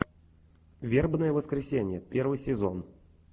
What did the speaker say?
вербное воскресенье первый сезон